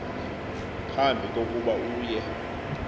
phambi kokuba uye